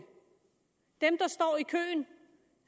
dem der står i køen